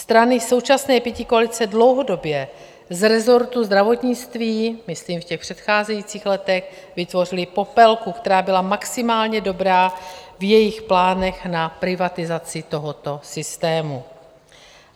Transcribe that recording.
Strany současné pětikoalice dlouhodobě z resortu zdravotnictví, myslím v těch předcházejících letech, vytvořily popelku, která byla maximálně dobrá v jejich plánech na privatizaci tohoto systému.